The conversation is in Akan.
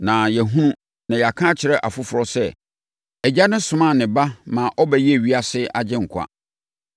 Na yɛahunu na yɛaka akyerɛ afoforɔ sɛ Agya no somaa ne Ba maa ɔbɛyɛɛ ewiase Agyenkwa.